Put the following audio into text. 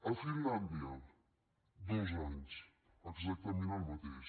a finlàndia dos anys exactament el mateix